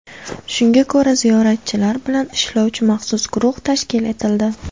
Shunga ko‘ra ziyoratchilar bilan ishlovchi maxsus guruh tashkil etildi.